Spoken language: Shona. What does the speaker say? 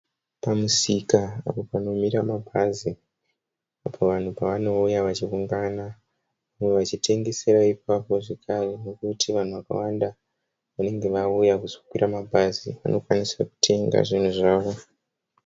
Kumusika apo panomira mabhazi, apo vanhu pavanouya vachiungana. Vamwe vachitengesa ipapo zvekare nekuti vanhu vakawanda vane vauya kuzokwira mabhazi vanokwanisa kutenga zvinhu zvavo.